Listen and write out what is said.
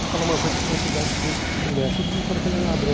Vou falar uma coisa que vocês acham que não é. Todo mundo fala que ele é ladrão.